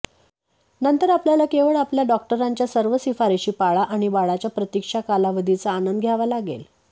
नंतर आपल्याला केवळ आपल्या डॉक्टरांच्या सर्व शिफारशी पाळा आणि बाळाच्या प्रतिक्षा कालावधीचा आनंद घ्यावा लागेल